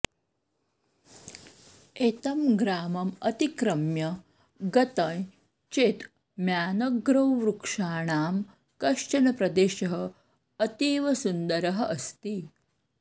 एतं ग्रामम् अतिक्रम्य गतं चेत् म्यानग्रौ वृक्षाणां कश्चन प्रदेशः अतीव सुन्दरः अस्ति